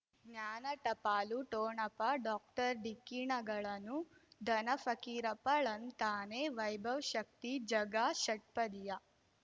ಜ್ಞಾನ ಟಪಾಲು ಠೊಣಪ ಡಾಕ್ಟರ್ ಢಿಕ್ಕಿ ಣಗಳನು ಧನ ಫಕೀರಪ್ಪ ಳಂತಾನೆ ವೈಭವ್ ಶಕ್ತಿ ಝಗಾ ಷಟ್ಪದಿಯ